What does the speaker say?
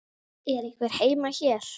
Er einhver heima hér?